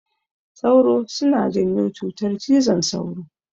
Sauro suna janyo cutar cizon sauro.